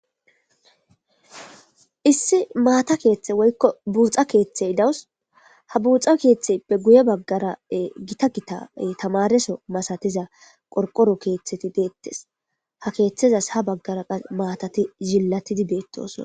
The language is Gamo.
issi maata keeththe woykko buuxa keeththey dawus ha buuxa keeththe be guye baggara gita gita tamareso masatiza qorqoro keeththeti deettes ha keeththezas ha baggara qa maatati yillatidi beettoson